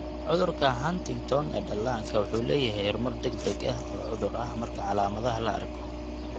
Cudurka Huntington ee dhallaanka wuxuu leeyahay horumar degdeg ah oo cudur ah marka calaamadaha la arko.